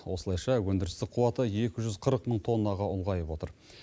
осылайша өндірістік қуаты екі жүз қырық мың тоннаға ұлғайып отыр